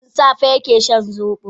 Tun safe yake shan zobo.